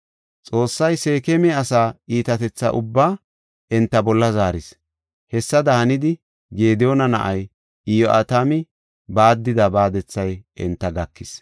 Xoossay Seekema asaa iitatetha ubbaa enta bolla zaaris. Hessada hanidi Gediyoona na7ay Iyo7atami baaddida baadethay enta gakis.